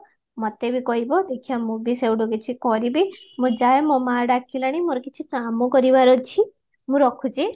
ମତେ ବି କହିବ ଦେଖିବା ମୁଁ ବି ସେଇଠୁ କିଛି କରିବି ମୁଁ ଯାଏ ମୋ ମା ଡାକିଲାଣି କିଛି କାମ କରିବାର ଅଛି ମୁଁ ରଖୁଚି